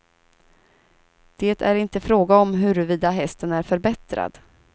Det är inte fråga om huruvida hästen är förbättrad.